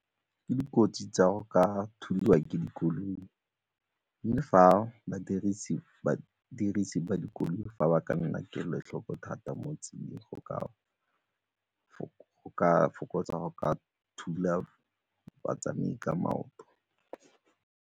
Ke dikotsi tsa go ka thulwa ke dikoloi mme fa badirisi ba dikoloi fa ba ka nna kelotlhoko thata mo tseleng go ka fokotsa go ka thula batsamai ka maoto.